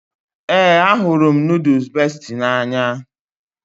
Ee, ahụrụ m nooduls Besti n'anya